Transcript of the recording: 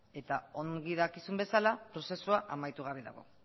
eta ongi dakizuen bezala prozesua amaitu gabe dago